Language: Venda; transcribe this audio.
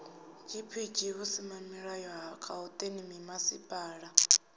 gpg vhusimamilayo ha gauteng mimasipala